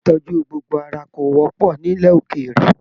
Ilé ìtọjú gbogbo ara ko wọpọ nílẹ̀ ókéré.